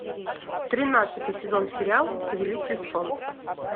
тринадцатый сезон сериал повелитель солнца